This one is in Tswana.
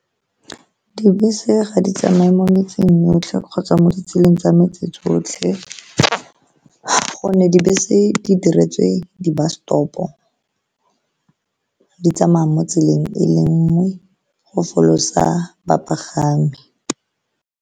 Dibese ga di tsamaye mo metseng yotlhe kgotsa mo ditseleng tsa metse tsotlhe, ka gonne dibese di diretswe di-bus stop-o, di tsamaya mo tseleng e le nngwe go folosa bapagami.